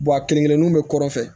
a kelenkelenninnu bɛ kɔrɔ fɛ